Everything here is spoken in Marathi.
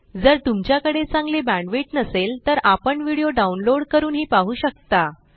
जर तुमच्याकडे चांगली बॅण्डविड्थ नसेल तर आपण व्हिडिओ डाउनलोड करूनही पाहू शकता